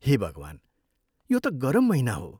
हे भगवान्, यो त गरम महिना हो!